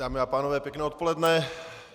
Dámy a pánové, pěkné odpoledne.